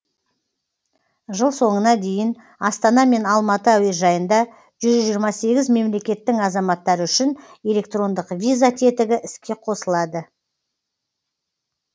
жыл соңына дейін астана мен алматы әуежайында жүз жиырма сегіз мемлекеттің азаматтары үшін электрондық виза тетігі іске қосылады